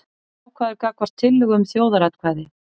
Jákvæður gagnvart tillögu um þjóðaratkvæði